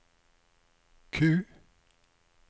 Q